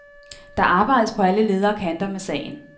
Der arbejdes på alle leder og kanter med sagen.